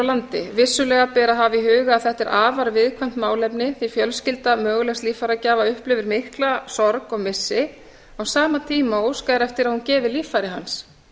landi vissulega ber að hafa í huga að þetta er afar viðkvæmt málefni því fjölskylda mögulegs líffæragjafa upplifir mikla sorg og missi á sama tíma og óskað er eftir að hún gefi líffæri hans